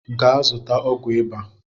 Gaa zụta ọgwụ ịba!